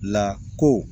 Lako